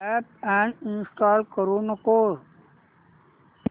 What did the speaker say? app uninstall करू नको